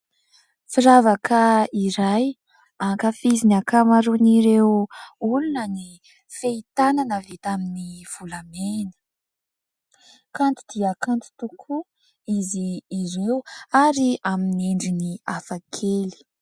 Firavaka iray ankafizin'ny ankamaroan'ireo olona ny fehin-tanana vita amin'ny volamena. Kanto dia kanto tokoa izy ireo ary amin'ny endriny hafakely.